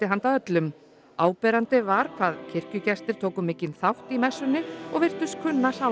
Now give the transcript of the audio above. handa öllum áberandi var hvað kirkjugestir tóku mikinn þátt í messunni og virtust kunna